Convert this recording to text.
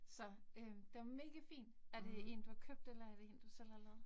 Så øh den megafin, er det én du har købt, eller er det én, du selv har lavet